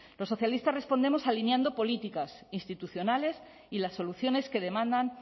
los socialistas respondemos alineando políticas institucionales y las soluciones que demandan